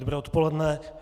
Dobré odpoledne.